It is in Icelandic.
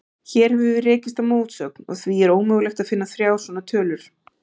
Hér höfum við rekist á mótsögn, og því er ómögulegt að finna þrjár svona tölur.